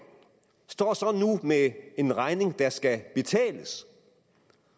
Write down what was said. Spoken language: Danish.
står så nu med en regning der skal betales